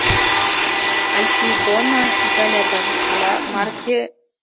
альтидона италиядағы қала марке